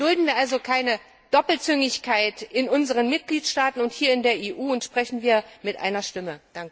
Dulden wir also keine Doppelzüngigkeit in unseren Mitgliedstaaten und in der EU und sprechen wir mit einer Stimme!